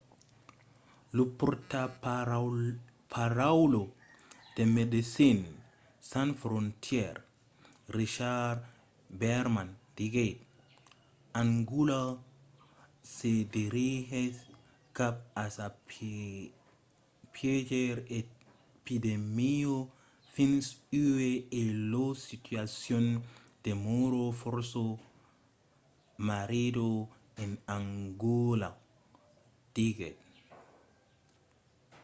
lo pòrtaparaula de médecins sans frontières richard veerman diguèt: angòla se dirigís cap a sa piéger epidèmia fins uèi e la situacion demòra fòrça marrida en angòla diguèt